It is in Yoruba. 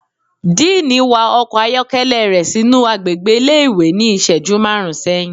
Diiní wa ọkọ ayọkẹlẹ rẹ sinu agbégbé ìlé-ìwé ni iṣẹju marún sẹhin